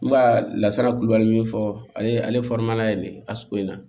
N ka lasara kulubali min fɔ ale ye ale ye nin ye asogo in na